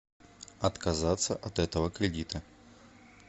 отказаться от этого кредита